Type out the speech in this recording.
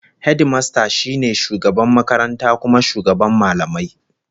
Hedimasta shi ne shugaban makaranta kuma shugaban mallamai